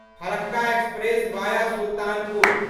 Farakka express via Sultanpur